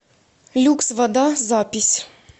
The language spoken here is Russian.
люкс вода запись